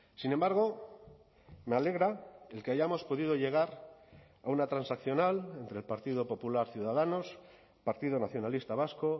sin embargo me alegra el que hayamos podido llegar a una transaccional entre el partido popular ciudadanos partido nacionalista vasco